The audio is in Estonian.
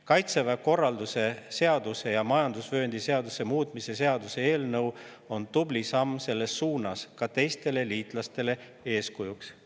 Kaitseväe korralduse seaduse ja majandusvööndi seaduse muutmise seaduse eelnõu on tubli samm selles suunas, see on ka teistele liitlastele eeskujuks.